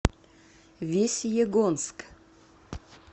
весьегонск